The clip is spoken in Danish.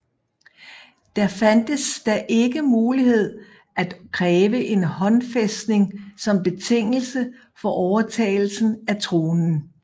Der fandtes da ikke mulighed at kræve en håndfæstning som betingelse for overtagelsen af tronen